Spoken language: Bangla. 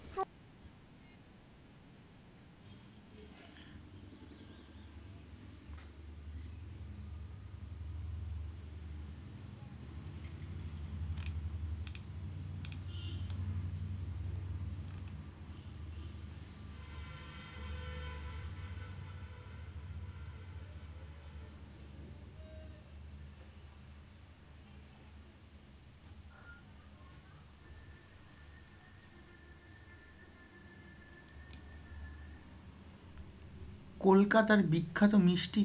কলকাতার বিখ্যাত মিষ্টি,